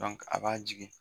a b'a jigin.